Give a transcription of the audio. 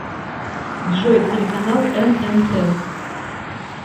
джой телеканал эн эн тэ